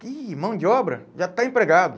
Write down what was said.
ih mão de obra? Já está empregado.